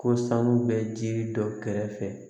Ko sanu bɛ ji dɔ kɛrɛfɛ